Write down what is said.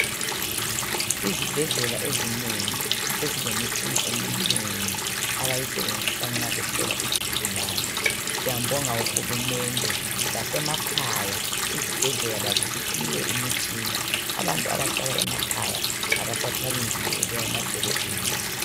Izibhedlela ezinengi sezilemitshina eminengi abayisebenzisa nxa behlola izigulane. Siyambonga uHulumende lasemakhaya izibhedlela lazo ziphiwe imitshina, abantu abahlala emakhaya abasathwali nzima bebuya emadolobheni.